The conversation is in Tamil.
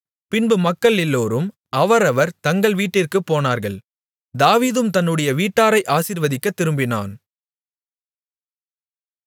பின்பு மக்கள் எல்லோரும் அவரவர் தங்கள் வீட்டிற்குப் போனார்கள் தாவீதும் தன்னுடைய வீட்டாரை ஆசீர்வதிக்கத்திரும்பினான்